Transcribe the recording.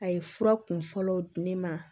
A ye fura kunfɔlɔ di ne ma